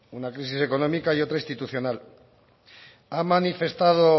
una crisis económica y otra institucional ha manifestado